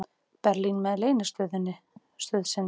Berlín með leynistöð sinni.